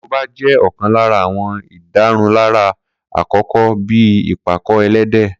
Korobá jẹ́ ọ̀kan lára àwọn ìdárunlárà àkọ́kọ́ bíi ìpàkọ-ẹlẹ́dẹ̀